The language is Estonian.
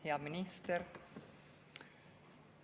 Hea minister!